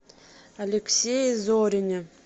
алексее зорине